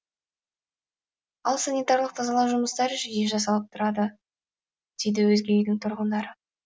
ал санитарлық тазалау жұмыстары жиі жасалып тұрады дейді өзге үйдің тұрғындары